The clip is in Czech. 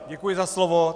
Děkuji za slovo.